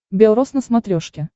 бел роз на смотрешке